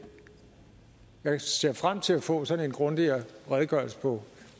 jeg ser frem til at få sådan en grundigere redegørelse på